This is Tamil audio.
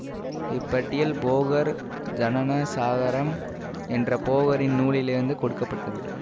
இப்பட்டியல் போகர் ஜனனசாகரம் என்ற போகரின் நூலிலிருந்து கொடுக்க பட்டது